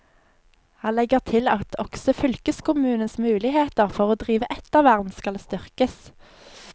Han legger til at også fylkeskommunens muligheter for å drive ettervern skal styrkes.